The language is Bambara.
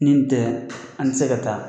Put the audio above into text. Nin tɛ, an tɛ se ka taa.